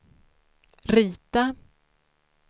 rita